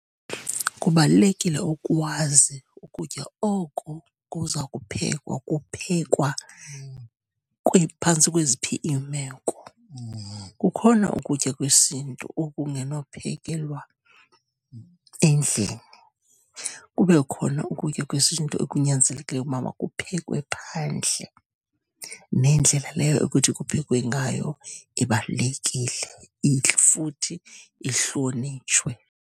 Kubalulekile ukwazi ukutya oko kuza kuphekwa kuphekwa phantsi kweziphi iimeko. Kukhona ukutya kwesintu okungenophekwelwa endlini. Kube khona ukutya kwesintu okunyanzelekileyo ukuba kuphekwe phandle nendlela leyo ekuthi kuphekwe ngayo ibalulekile futhi, ihlonitshwe.